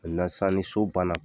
sisan ni so banna,